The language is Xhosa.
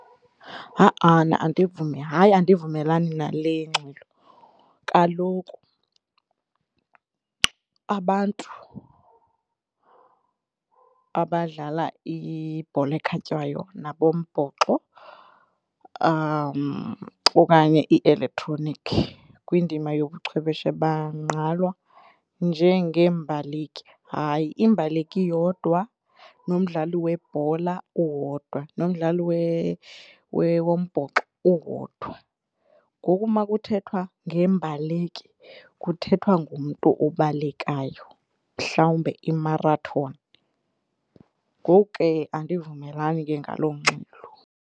Ha-ana, andivumi hayi, andivumelani nale ingxelo. Kaloku abantu abadlala ibhola ekhatywayo nabombhoxo okanye ielektronikhi kwindima yobuchwepheshe bangqalwa njengeembaleki. Hayi imbaleki yodwa nomdlali webhola owodwa, nomdlali wombhoxo uwodwa. Ngoku makuthethwa ngembaleki kuthethwa ngomntu obalekayo, mhlawumbe imarathoni. Ngoku ke andivumelani ke ngaloo ngxelo.